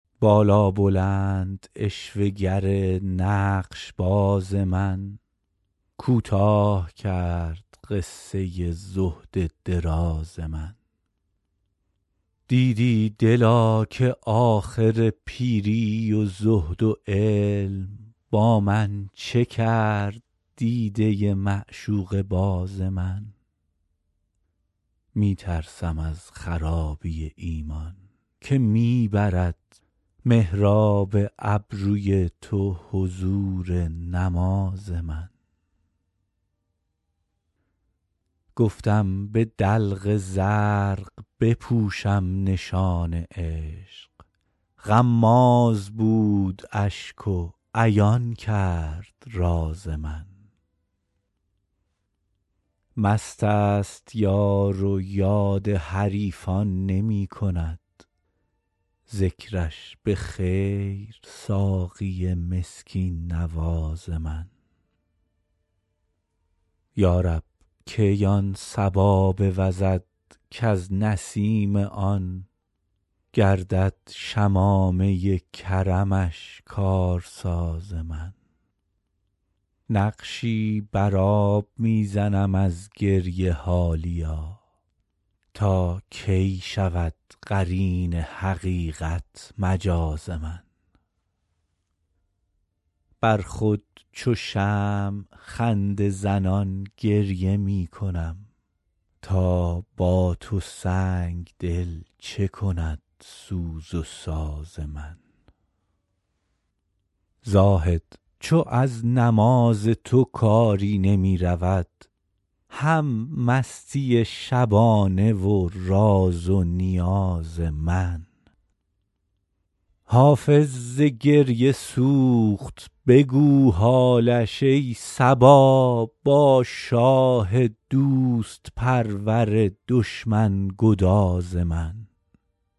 بالابلند عشوه گر نقش باز من کوتاه کرد قصه زهد دراز من دیدی دلا که آخر پیری و زهد و علم با من چه کرد دیده معشوقه باز من می ترسم از خرابی ایمان که می برد محراب ابروی تو حضور نماز من گفتم به دلق زرق بپوشم نشان عشق غماز بود اشک و عیان کرد راز من مست است یار و یاد حریفان نمی کند ذکرش به خیر ساقی مسکین نواز من یا رب کی آن صبا بوزد کز نسیم آن گردد شمامه کرمش کارساز من نقشی بر آب می زنم از گریه حالیا تا کی شود قرین حقیقت مجاز من بر خود چو شمع خنده زنان گریه می کنم تا با تو سنگ دل چه کند سوز و ساز من زاهد چو از نماز تو کاری نمی رود هم مستی شبانه و راز و نیاز من حافظ ز گریه سوخت بگو حالش ای صبا با شاه دوست پرور دشمن گداز من